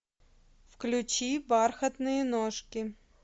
включи бархатные ножки